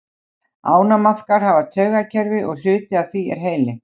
Ánamaðkar hafa taugakerfi og hluti af því er heili.